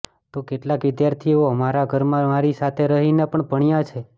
તો કેટલાંક વિદ્યાર્થીઓ મારા ઘરમાં મારી સાથે રહીને પણ ભણ્યા છે